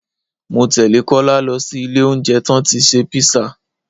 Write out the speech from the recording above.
Mọ tẹ́lẹ̀ Kọ́lá lọ sí ilé oúnjẹ tán tí ṣe písà